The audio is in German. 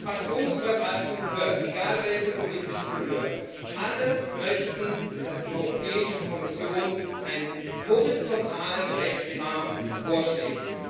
Sie haben es fraktionsübergreifend gehört Egal welche politische Couleur, alle möchten, dass die Europäische Kommission einen horizontalen Rechtsrahmen vorschlägt.